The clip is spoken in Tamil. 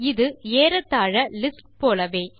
இது ஏறத்தாழ லிஸ்ட் போலவே